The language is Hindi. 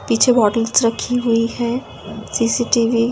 पीछे बॉटल्स रखी हुई हैं सी_सी_टी_वी --